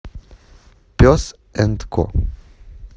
пес энд ко